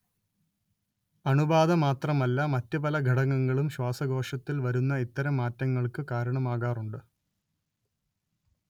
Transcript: അണുബാധ മാത്രമല്ല മറ്റ് പല ഘടകങ്ങളും ശ്വാസകോശത്തിൽ വരുന്ന ഇത്തരം മാറ്റങ്ങൾക്ക് കാരണമാകാറുണ്ട്